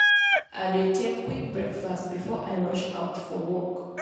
i dey take quick breakfast before i rush out for work.